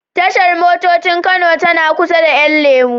Tashar motocin Kano tana kusa da 'yan lemo.